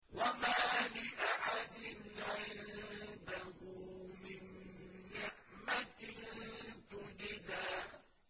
وَمَا لِأَحَدٍ عِندَهُ مِن نِّعْمَةٍ تُجْزَىٰ